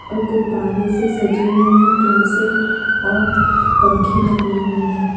और गुब्बारे से सजी हुई है क्लासें और पंखे लगी हुई है।